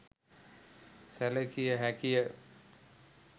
සැලකිය හැකිය